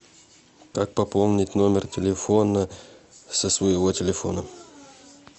как пополнить номер телефона со своего телефона